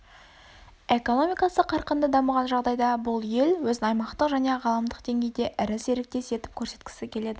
экономикасы қарқынды дамыған жағдайда бұл ел өзін аймақтық және ғаламдық деңгейде ірі серіктес етіп көрсеткісі келеді